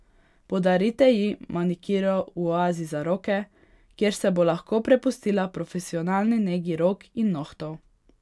Podarite ji manikiro v oazi za roke, kjer se bo lahko prepustila profesionalni negi rok in nohtov.